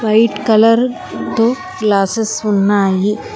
White colour తో glasses ఉన్నాయి.